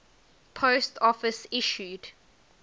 post office issued